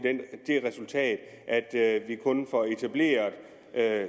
det resultat at vi kun får etableret